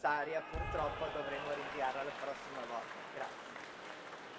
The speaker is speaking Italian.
Come diceva Lei, Commissaria, purtroppo, dovremo rinviare alla prossima volta.